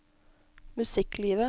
musikklivet